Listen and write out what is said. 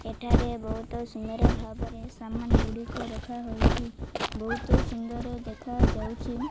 ଏଠାରେ ବହୁତ ସୁନ୍ଦର ଭାବରେ ସମ୍ମାନ ଗୋଡ଼ିକ ରଖା ହୋଇଛି ବହୁତ ସୁନ୍ଦର ଦେଖା ଯାଉଛି।